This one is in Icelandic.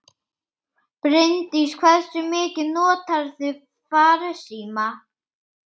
Bryndís: Hversu mikið notarðu farsíma?